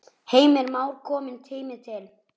Heimir Már: Kominn tími til?